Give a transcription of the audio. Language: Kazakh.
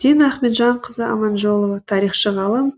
дина ахметжанқызы аманжолова тарихшы ғалым